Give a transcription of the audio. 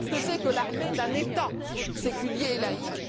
Nous savons ce que c'est que l'armée d'un État séculier et laïque.